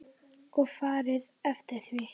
Og farið eftir því.